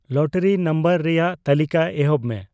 lottery number ᱨᱮᱭᱟᱜ ᱛᱟᱹᱞᱤᱠᱟ ᱮᱦᱚᱵ ᱢᱮ